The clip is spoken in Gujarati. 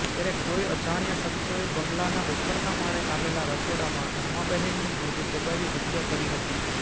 ત્યારે કોઇ અજાણ્યા શખ્સોએ બંગલાના ઉપરના માળે આવેલા રસોડામાં રમાબહેનનું મોઢું દબાવી હત્યા કરી હતી